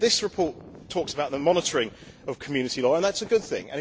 This report talks about the monitoring of Community law, and that is a good thing.